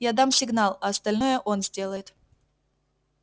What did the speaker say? я дам сигнал а остальное он сделает